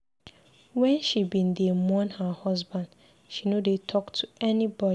Wen she bin dey mourn her husband, she no dey talk to anybody.